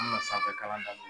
an me na sanfɛkalan da